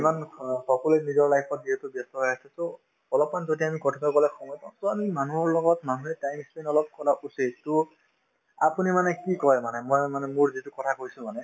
ইমান অ সকলোয়ে নিজৰ life ত যিহেতু ব্যস্ত হৈ আছে so অলপমান যদি আমি কথাপাতিবলৈ সময় পাওঁ to আমি মানুহৰ লগত মানুহে time ই spent অলপ কৰা উচিত to আপুনি মানে কি কই মানে মই মানে মোৰ যিটো কথা কৈছো মানে